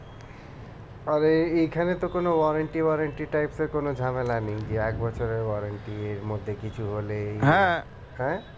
আরে এইখানে তো কোনো warranty warranty types এর কোনো ঝামেলা নেই কি এক বছরের warranty এর মধ্যে কিছু হলেই হ্যাঁ